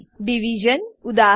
Division division ઉદા